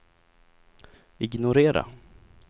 ignorera